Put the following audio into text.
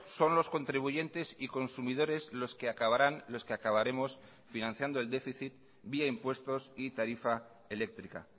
son los contribuyentes y consumidores los que acabarán los que acabaremos financiando el déficit vía impuestos y tarifa eléctrica